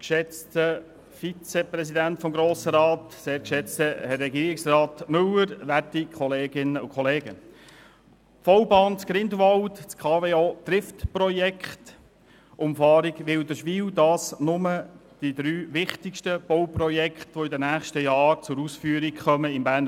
Die V-Bahn in Grindelwald, das Trift-Projekt der Kraftwerke Oberhasli (KWO), die Umfahrung Wilderswil: Dies sind die drei wichtigsten Bauprojekte, die in den nächsten Jahren im Berner Oberland zur Ausführung kommen werden.